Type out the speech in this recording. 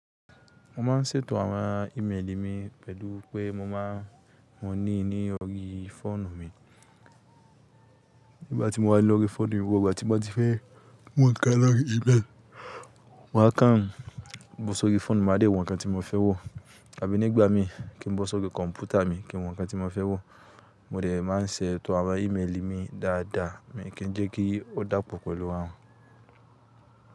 Mo máa ń ṣètò àwọn ímeèlì mi pẹ̀lú pé mo máa ní ní ọ̀rí fóònù mi. Nígbà tí mo wà lọ́rí fóònù mi, gbogbo ìgbà tí mo ti fẹ́ wò ńkan lọ́rí ímeèlì, maa kàn bó sórí fóònù, mo á tẹ̀ wò ńkan tí mo fẹ́ wò. Àbí nígbà mi kí n bó sórí kọ̀m̀pútà mi kí n wò ńkan tí mo fẹ́ wò, mo dẹ̀ máa n ṣètò àwọn ímeèlì mi dáadáa mii kí jẹ́ kí ó dàpọ̀ pẹ̀lú wọn.